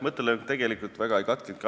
Mõttelõng tegelikult väga ei katkenudki.